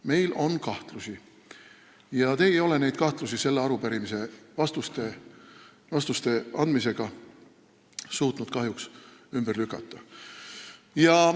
Meil on kahtlusi ja te ei ole neid sellele arupärimisele vastust andes suutnud kahjuks ümber lükata.